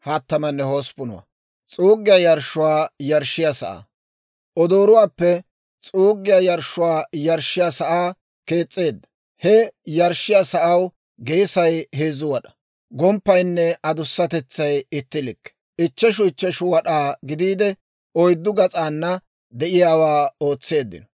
Odooruwaappe s'uuggiyaa yarshshuwaa yarshshiyaa sa'aa kees's'eedda. He yarshshiyaa sa'aw geesay heezzu wad'aa, gomppaynne adussatetsay itti likke, ichcheshu ichcheshu wad'aa gidiide, oyddu gas'aana de'iyaawaa ootseeddino.